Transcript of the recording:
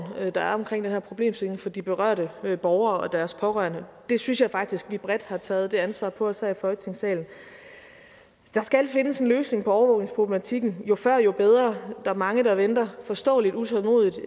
der er omkring den her problemstilling for de berørte borgere og deres pårørende jeg synes faktisk vi bredt har taget det ansvar på os her i folketingssalen der skal findes en løsning på overvågningsproblematikken jo før jo bedre er mange der venter forståeligt utålmodigt